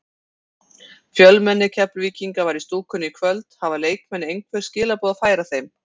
Fjölmenni Keflvíkinga var í stúkunni í kvöld, hafa leikmenn einhver skilaboð að færa þeim?